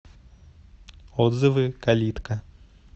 отзывы калитка